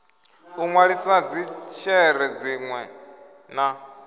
u nwalisa dzishere dzinwe na